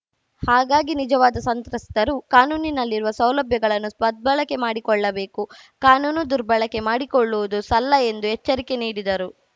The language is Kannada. ಹಾಗಾಗಿ ನಿಜವಾದ ಸಂತ್ರಸ್ತರು ಕಾನೂನಿನಲ್ಲಿರುವ ಸೌಲಭ್ಯಗಳನ್ನು ಸದ್ಬಳಕೆ ಮಾಡಿಕೊಳ್ಳಬೇಕು ಕಾನೂನು ದುರ್ಬಳಕೆ ಮಾಡಿಕೊಳ್ಳುವುದು ಸಲ್ಲ ಎಂದು ಎಚ್ಚರಿಕೆ ನೀಡಿದರು